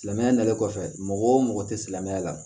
Silamɛmɛya nalen kɔfɛ mɔgɔ te silamɛya la